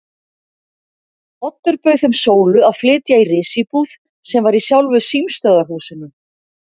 Oddur bauð þeim Sólu að flytja í risíbúð sem var í sjálfu símstöðvarhúsinu.